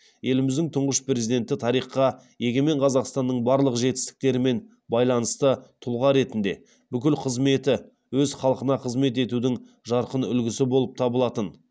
еліміздің тұңғыш президенті тарихқа егемен қазақстанның барлық жетістіктерімен байланысты тұлға ретінде бүкіл қызметі өз халқына қызмет етудің жарқын үлгісі болып табылатын